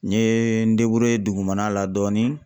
N ye n dugumana la dɔɔnin